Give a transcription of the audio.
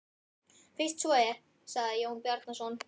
Fyrst svo er, sagði Jón Bjarnason.